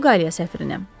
Portuqaliya səfirinə.